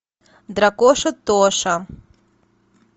дракоша тоша